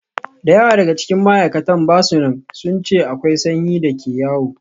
Da yawa daga cikin ma'aikatan ba su nan, sun ce akwai sanyi da ke yawo.